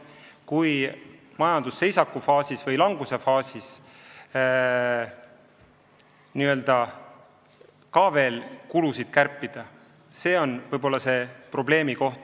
Kui majandusseisaku või languse faasis kulusid kärpida, siis see võib olla probleem.